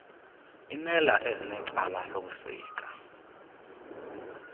imela ezinecala lokusika